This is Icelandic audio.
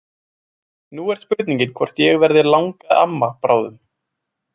Nú er spurningin hvort ég verði langamma bráðum.